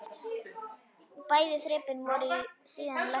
Bæði þrepin voru síðan lækkuð.